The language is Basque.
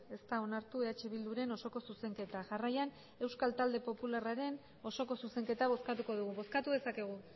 ez da onartu eh bilduren osoko zuzenketa jarraian euskal talde popularraren osoko zuzenketa bozkatuko dugu bozkatu dezakegu